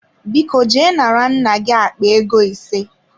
Biko je nara nna gi akpa ego ise.